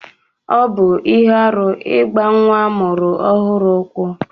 Ọbụ ihe arụ igba nwa amụrụ ohuru ụkwụ.